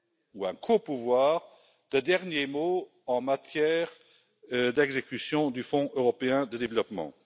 ou un copouvoir de dernier mot en matière d'exécution du Fonds européen de développement.